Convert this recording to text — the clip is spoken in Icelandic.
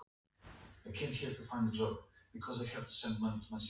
Gleðilega páska, hvað svo sem það þýðir.